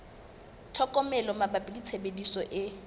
tlhokomelo mabapi le tshebediso e